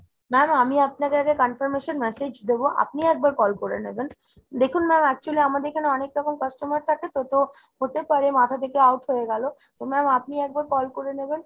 ma'am আমি আপনাকে আগে confirmation massage দেব, আপনি একবার call করে নেবেন। দেখুন ma'am actually আমাদের এখানে অনেক রকম customer থাকে তো, তো হতে পারে মাথা থেকে out হয়েগেলো। তো ma'am আপনি একবার call করে নেবেন